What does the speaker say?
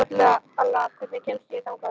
Alla, hvernig kemst ég þangað?